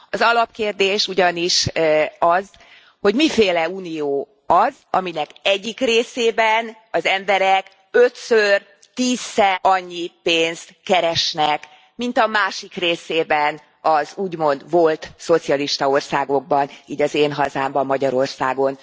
Az alapkérdés ugyanis az, hogy miféle unió az, aminek egyik részében az emberek ötször, tízszer annyi pénzt keresnek, mint a másik részében, az úgymond volt szocialista országokban, így az én hazámban, Magyarországon.